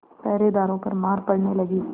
पहरेदारों पर मार पड़ने लगी